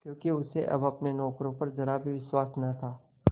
क्योंकि उसे अब अपने नौकरों पर जरा भी विश्वास न था